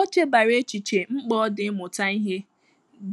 Ọ chebara echiche mkpa ọ dị ịmụta ìhè